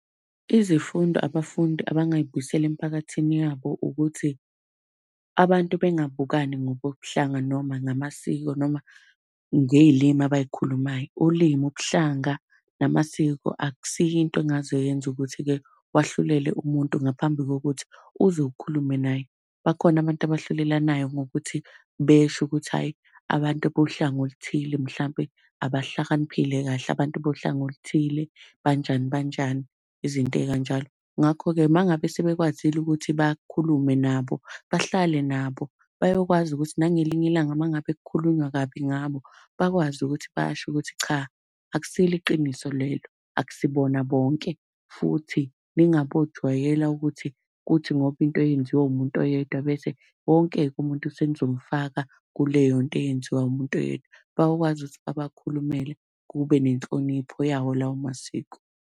Izifundo abafundi abangay'buyisela emphakathini yabo ukuthi, abantu bengabukani ngokobuhlanga noma ngamasiko noma ngey'limi abay'khulumayo. Ulimi, ubuhlanga, namasiko, akusiyo into engaze yenze ukuthi-ke wahlulele umuntu ngaphambi kokuthi uze ukhulume naye. Bakhona abantu abahlulelanayo ngokuthi besho ukuthi ayi, abantu bohlanga oluthile mhlampe abahlakaniphile kahle, abantu bohlanga oluthile banjani banjani izinto ey'kanjalo. Ngakho-ke uma ngabe sebekwazile ukuthi bakhulume nabo, bahlale nabo bayokwazi ukuthi nangelinye ilanga uma ngabe kukhulunywa kabi ngabo, bakwazi ukuthi basho ukuthi cha, akusilo iqiniso lelo. Akusibona bonke, futhi ningabojwayela ukuthi kuthi ngoba into yenziwe umuntu oyedwa bese wonke-ke umuntu senizomufaka kuleyo nto eyenziwa umuntu oyedwa. Bayokwazi ukuthi babakhulumele kube nenhlonipho yawo lawo masiko.